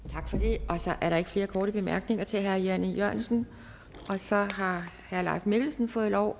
tak er der ikke flere korte bemærkninger til herre jan e jørgensen så har herre leif mikkelsen fået lov